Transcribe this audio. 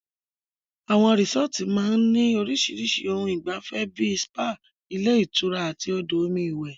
Àwọn resọ́ọ́tu máa ń ní orísirísi ohun ìgbafẹ́ bíi spa, ilé ìtura àti odò omi iwẹ̀.